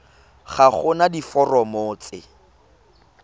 ga go na diforomo tse